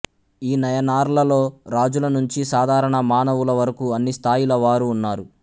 ఈ నయనార్లలో రాజుల నుంచీ సాధారణ మానవులవరకూ అన్ని స్థాయిల వారూ ఉన్నారు